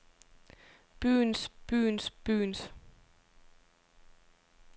byens byens byens